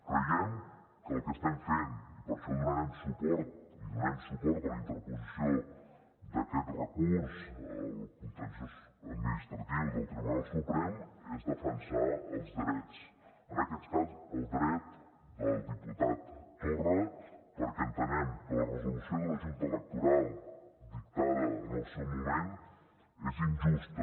creiem que el que estem fent i per això donarem suport i donem suport a la interposició d’aquest recurs al contenciós administratiu del tribunal suprem és defensar els drets en aquest cas el dret del diputat torra perquè entenem que la resolució de la junta electoral dictada en el seu moment és injusta